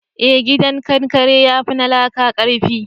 eh gidan kankare ya fi na laƙa karfi